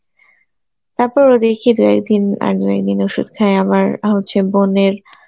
তারপরেও দেখি দু-একদিন আর দু একদিন ওষুধ খাই আমার হচ্ছে বোনের